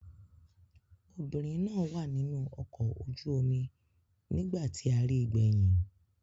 Obìnrin náà wà nínú ọkọ̀ ojú-omi nígbà tí a ri gbẹ̀yìn.